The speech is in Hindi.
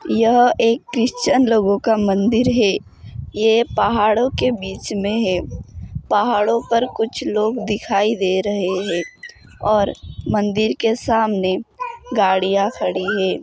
यह एक ख्रिष्चन लोगोका मंदिर है ये पाहाडों के बिच में है पाहाडों पर कुछ लोग दिखाई दे रहे है और मंदिर के सामने गाडीया खडी है।